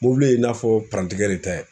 Mobili in n'a fɔ de tɛ